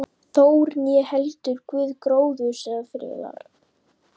Þór, né heldur guð gróðurs eða friðar.